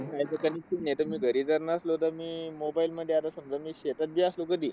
आता कमीतकमी आता मी घरी जर नसलो तरी, मी mobile मध्ये, आता मी समजा शेतात बी असलो तरी.